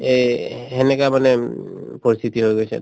এই সেনেকা মানে উম পৰিস্থিতি হৈ গৈছে